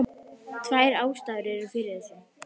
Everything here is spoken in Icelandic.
Tvær ástæður eru fyrir þessu.